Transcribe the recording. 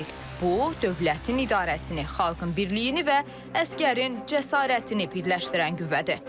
Bu, dövlətin idarəsini, xalqın birliyini və əsgərin cəsarətini birləşdirən qüvvədir.